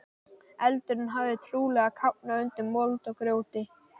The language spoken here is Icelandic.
Eldurinn hafði trúlega kafnað undir mold og grjóti.